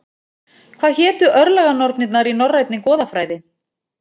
Hvað hétu örlaganornirnar í norrænni goðafræði?